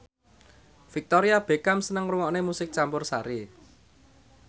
Victoria Beckham seneng ngrungokne musik campursari